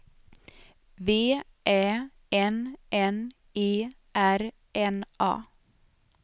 V Ä N N E R N A